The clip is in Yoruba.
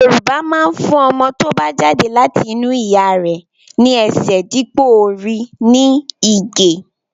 Yorùbá máa ń fún ọmọ tó bá jáde láti inú ìyá rẹ̀ ní ẹsẹ̀ dípò orí ní Ìgè